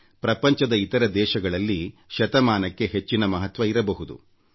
ಪ್ರಪಂಚದ ಇತರ ದೇಶಗಳಲ್ಲಿ ಶತಮಾನಕ್ಕೆ ಹೆಚ್ಚಿನ ಮಹತ್ವವಿರಬಹುದು